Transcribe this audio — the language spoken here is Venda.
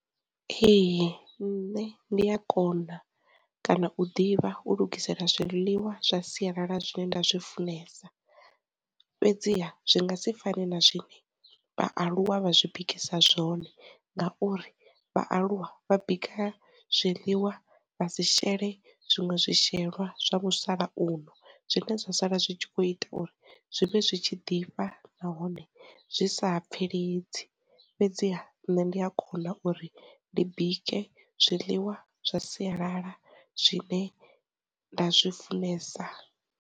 Ee, nṋe ndi a kona kana u ḓivha u lugisela zwiḽiwa zwa sialala zwine nda zwi funesa, fhedziha zwi nga si fani na zwine vhaaluwa vha zwi bikisiwa zwone ngauri vhaaluwa vha bika zwiliwa vha sishele zwiṅwe zwi shelwa zwa musalauno zwine zwa sala zwi kho ita uri zwi vhe zwitshi ḓifha nahone zwi sa pfeledzi, fhedziha nne ndi a kona uri ndi bike zwiḽiwa zwa sialala zwine nda zwi funesa.